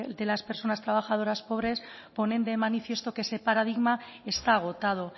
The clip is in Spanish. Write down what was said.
de las personas trabajadoras pobres ponen de manifiesto que ese paradigma está agotado